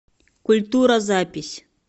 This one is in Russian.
культура запись